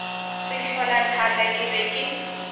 sehlola thaka ke be ke